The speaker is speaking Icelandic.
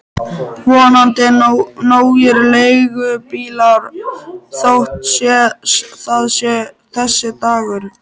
Vonandi nógir leigubílar þótt það sé þessi dagur.